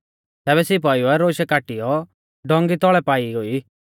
तैबै सिपाइउऐ रौशै काटीयौ डोंगी तौल़ै पाई गोई